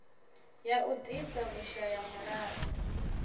ya u ḓisa vhushaya mulalo